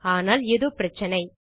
ஆனால் ஏதோ பிரச்சினை